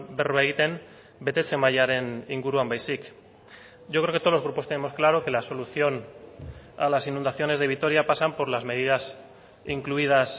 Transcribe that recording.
berba egiten betetze mailaren inguruan baizik yo creo que todos los grupos tenemos claro que la solución a las inundaciones de vitoria pasan por las medidas incluidas